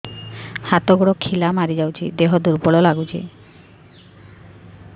ହାତ ଗୋଡ ଖିଲା ମାରିଯାଉଛି ଦେହ ଦୁର୍ବଳ ଲାଗୁଚି